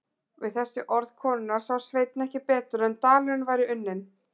Við þessi orð konunnar sá Sveinn ekki betur en dalurinn væri unninn.